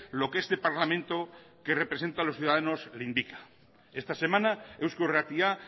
lo que este parlamento que representa a los ciudadanos le indica esta semana eusko irratia